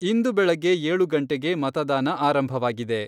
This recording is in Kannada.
ಇಂದು ಬೆಳಗ್ಗೆ ಏಳು ಗಂಟೆಗೆ ಮತದಾನ ಆರಂಭವಾಗಿದೆ.